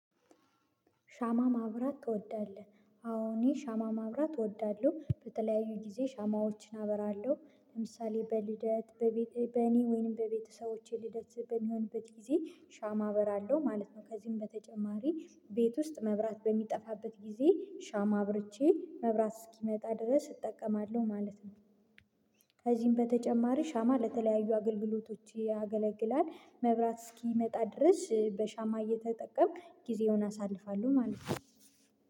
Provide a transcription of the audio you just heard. ሻማ ማብራት ትወዳለህ? አዎ እኔ ሻማ ማብራት እወዳለሁ በተለያዩ ጊዜ ሻማዎችን አበራለሁ ለምሳሌ በልደት በቤት በእኔ ወይንም በቤተሰቦቼ ልደት በሚሆንበት ጊዜ ሻማ አበራለሁ ማለት ነው ከዚህም በተጨማሪ ቤት ውስጥ መብራት በሚጠፋበት ጊዜ ሻማ አብርቼ መብራት እስኪመጣ ድረስ እጠቀማለሁ ማለት ነው ከዚህም በተጨማሪ ሻማ ለተለያዩ አገልግሎቶች ያገለግላል መብራት እስኪመጣ ድረስ በሻማ እየተጠቀምኩ ጊዜውን አሳልፋለሁ ማለት ነው